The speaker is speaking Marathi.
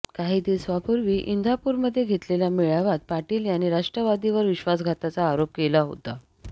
काही दिवसांपूर्वी इंदापूरमध्ये घेतलेल्या मेळाव्यात पाटील यांनी राष्ट्रवादीवर विश्वासघाताचा आरोप केला होता